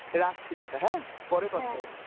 রাখছি টাটা হ্যাঁ, পরে কথা বলবো.